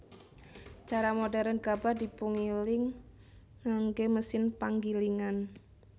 Cara modhèrn gabah dipungiling nganggé mesin panggilingan